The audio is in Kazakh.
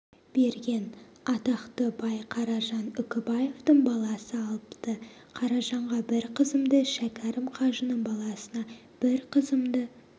берген атақты бай қаражан үкібаевтың баласы алыпты қаражанға бір қызымды шәкәрім қажының баласына бір қызымды